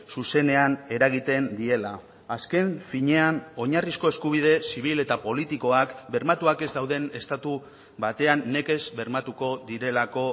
zuzenean eragiten diela azken finean oinarrizko eskubide zibil eta politikoak bermatuak ez dauden estatu batean nekez bermatuko direlako